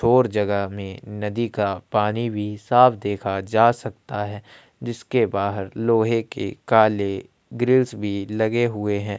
और जगह में नदी का पानी भी साफ़ देखा जा सकता हैं जिसके बाहर लोहै के काले ग्रीस भी लगे हुए हैं।